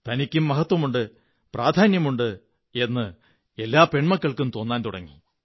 തനിക്കും മഹത്വമുണ്ട് പ്രാധാന്യമുണ്ട് എന്ന് എല്ലാ പെണ്മലക്കള്ക്കും് തോന്നാൻ തുടങ്ങി